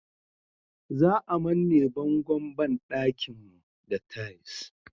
Za a manne bangon banɗakin mu da tais